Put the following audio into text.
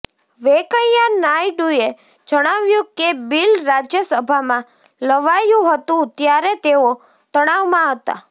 વેંકૈયા નાયડુએ જણાવ્યું કે બિલ રાજ્યસભામાં લવાયું હતું ત્યારે તેઓ તણાવમાં હતા